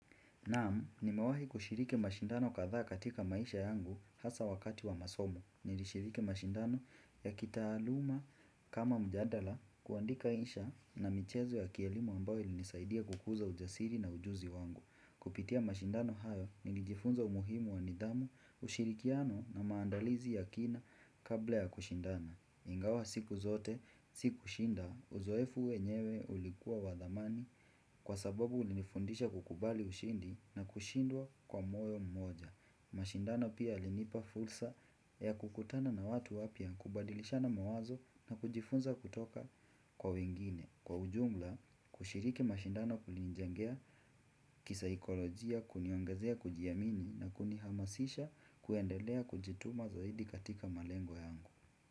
Naam, nimewahi kushiriki mashindano kathaa katika maisha yangu hasa wakati wa masomo. Nilishiriki mashindano ya kitaaluma kama mjadala kuandika insha na michezo ya kielimu ambayo ilinisaidia kukuza ujasiri na ujuzi wangu. Kupitia mashindano hayo, nilijifunza umuhimu wa nidhamu, ushirikiano na maandalizi ya kina kabla ya kushindana. Ingawa siku zote, siku shinda, uzoefu wenyewe ulikuwa wa dhamani kwa sababu ulinifundisha kukubali ushindi na kushindwa kwa moyo mmoja. Mashindano pia yalinipa fulsa ya kukutana na watu wapia kubadilisha na mawazo na kujifunza kutoka kwa wengine. Kwa ujumla, kushiriki mashindano kulinijengea kisaikolojia kuniongezea kujiamini na kunihamasisha kuendelea kujituma zaidi katika malengo yangu.